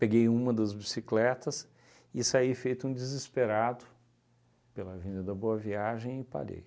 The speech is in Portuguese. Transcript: Peguei uma das bicicletas e saí feito um desesperado pela avenida da Boa Viagem e parei.